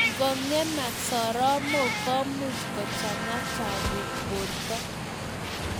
Ngong'amak soromok komuch kochang'a chapuk borto